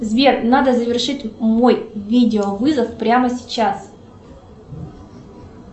сбер надо завершить мой видеовызов прямо сейчас